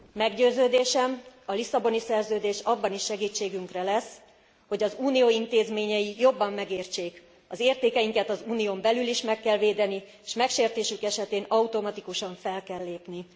Meggyőződésem, a Lisszaboni Szerződés abban is segítségünkre lesz, hogy az Unió intézményei jobban megértsék, az értékeinket az Unión belül is meg kell védeni, s megsértésük esetén automatikusan fel kell lépni.